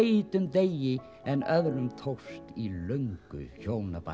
heitum degi en öðrum tókst í löngu hjónabandi